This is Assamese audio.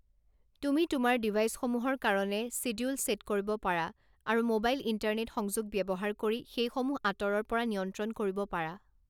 তুমি তোমাৰ ডিভাইচসমূহৰ কাৰণে ছিডিউল ছে'ট কৰিব পাৰা আৰু ম'বাইল ইণ্টাৰনেট সংযোগ ব্যৱহাৰ কৰি সেইসমূহ আঁতৰৰ পৰা নিয়ন্ত্ৰণ কৰিব পাৰা